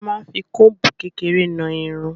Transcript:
A máa n fí kombu kékeré náa Irun.